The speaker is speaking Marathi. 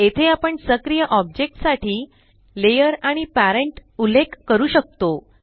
येथे आपण सक्रिय ऑब्जेक्ट साठी लेयर आणि पॅरेंट उल्लेख करू शकतो